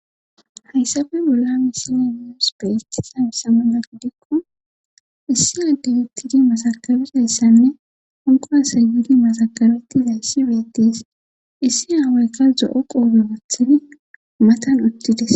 hayssafe bolla misilen muus beet samsamala gidikko issi addey uttidi masakabizayssanne honqo asayyidi masakabetti hayssi beetis issi aawayka zo7o qoobe bathini matan uttides